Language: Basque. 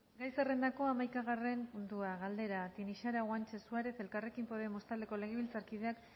gai zerrendako hamaikagarren puntua galdera tinixara guantxe suarez elkarrekin podemos taldeko legebiltzarkideak